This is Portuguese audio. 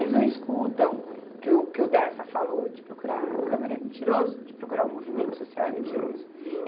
Eles não escutam que o que o Dersa falou de procurar a câmera é mentiroso, de procurar o movimento social é mentiroso.